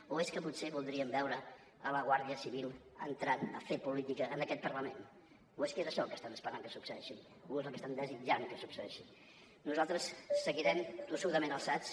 o és que potser voldrien veure la guàrdia civil entrant a fer política en aquest parlament o és que això el que estan esperant que succeeixi o és el que estan desitjant que succeeixi nosaltres seguirem tossudament alçats